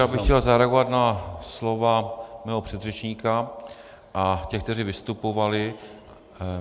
Já bych chtěl zareagovat na slova svého předřečníka a těch, kteří vystupovali.